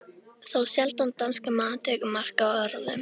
Þá sjaldan danskur maður tekur mark á orðum